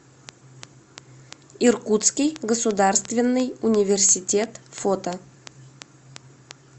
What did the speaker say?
иркутский государственный университет фото